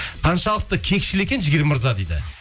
қаншалықты кекшіл екен жігер мырза дейді